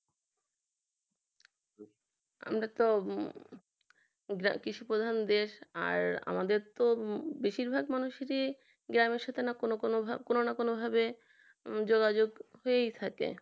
আমরা তো কৃষি প্রধান দেশ আর আমাদের তো বেশিরভাগ মানুষই যে গ্রামের সাথে না কোন কোন ভাব কোন কোন ভাবেই যোগাযোগ হয়েই থাকে